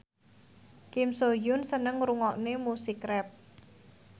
Kim So Hyun seneng ngrungokne musik rap